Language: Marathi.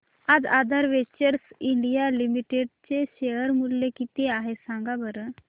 आज आधार वेंचर्स इंडिया लिमिटेड चे शेअर चे मूल्य किती आहे सांगा बरं